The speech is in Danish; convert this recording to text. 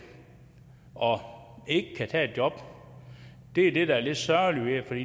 og ikke kan tage et job det er det der er lidt sørgeligt for